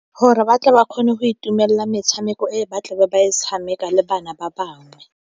Gore ba tle ba kgone go itumelela metshameko e ba tlebe ba e tshameka le bana ba bangwe.